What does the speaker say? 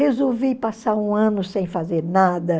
Resolvi passar um ano sem fazer nada.